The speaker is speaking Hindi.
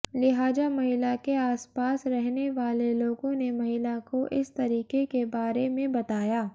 लिहाजा महिला के आसपास रहनेवालें लोगों ने महिला को इस तरिके के बारे में बताया